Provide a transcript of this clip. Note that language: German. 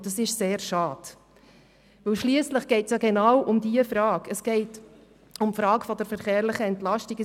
Und das ist sehr schade, weil es genau um die Frage nach der verkehrlichen Entlastung geht.